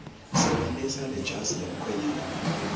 sebentisa lejazi lemkhwenyane